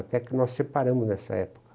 Até que nós separamos nessa época.